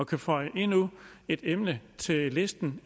kunne føje endnu et emne til listen